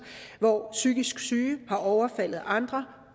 hvor psykisk syge har overfaldet andre